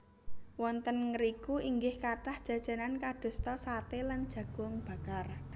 Wonten ngriku inggih kathah jajanan kadosta saté lan jagung bakar